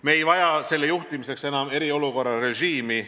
Me ei vaja selle juhtimiseks enam eriolukorra režiimi.